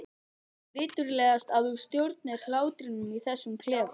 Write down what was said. Viturlegast að þú stjórnir hlátrinum í þessum klefa.